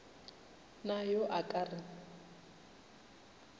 na yo a ka re